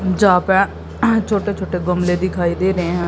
जहां पे छोटे छोटे गमले दिखाई दे रहे हैं।